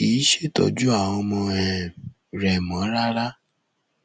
kì í ṣètọjú àwọn ọmọ um rẹ mọ rárá